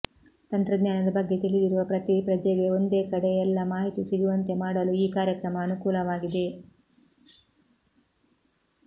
ತಂತ್ರಜ್ಞಾನದ ಬಗ್ಗೆ ತಿಳಿದಿರುವ ಪ್ರತೀ ಪ್ರಜೆಗೆ ಒಂದೇ ಕಡೆ ಎಲ್ಲ ಮಾಹಿತಿ ಸಿಗುವಂತೆ ಮಾಡಲು ಈ ಕಾರ್ಯಕ್ರಮ ಅನುಕೂಲವಾಗಿದೆ